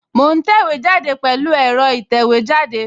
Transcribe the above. Mo ń tẹ̀wé jáde pẹ̀lú ẹ̀rọ ìtẹ̀wẹ́jáde